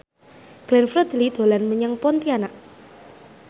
Glenn Fredly dolan menyang Pontianak